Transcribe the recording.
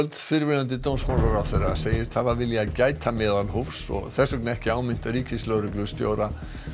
fyrrverandi dómsmálaráðherra segist hafa viljað gæta meðalhófs og þess vegna ekki áminnt ríkislögreglustjóra